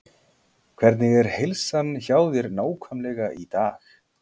Hvernig er heilsan hjá þér nákvæmlega í dag?